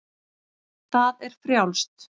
Það er frjálst.